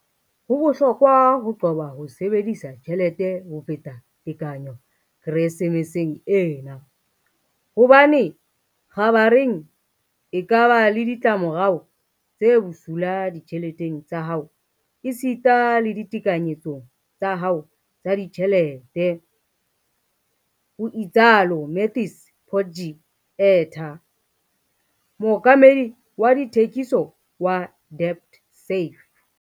"Ho bohlokwa ho qoba ho sebedisa tjhelete ho feta tekanyo Keresemeseng ena, hobane kgabareng e ka ba le ditla morao tse bosula ditjheleteng tsa hao esita le ditekanyetsong tsa hao tsa ditjhelete," ho itsalo Matthys Potgieter, mookamedi wa dithekiso wa DebtSafe.